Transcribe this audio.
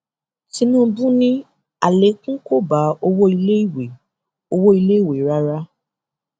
tinúbú ni àlékún kò bá owó iléiwé owó iléiwé rárá